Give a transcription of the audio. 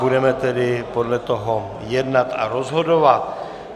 Budeme tedy podle toho jednat a rozhodovat.